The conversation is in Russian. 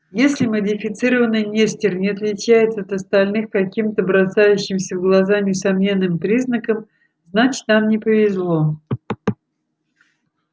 если модифицированный нестер не отличается от остальных каким-то бросающимся в глаза несомненным признаком значит нам не повезло